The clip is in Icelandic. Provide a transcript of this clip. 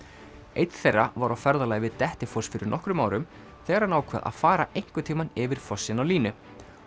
einn þeirra var á ferðalagi við Dettifoss fyrir nokkrum árum þegar hann ákvað að fara einhvern tímann yfir fossinn á línu